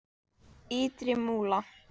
Ytri Múla